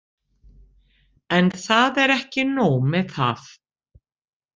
En það er ekki nóg með það.